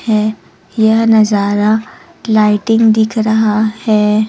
है यह नजारा लाइटिंग दिख रहा है।